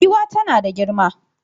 Giwa tana da girma.